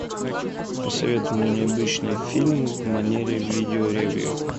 посоветуй мне необычный фильм в манере видео ревью